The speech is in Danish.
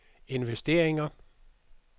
investeringer